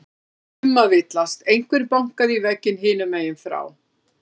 Það var ekki um að villast, einhver bankaði í vegginn hinum megin frá.